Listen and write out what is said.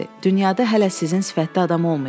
Dünyada hələ sizin sifətdə adam olmayıb.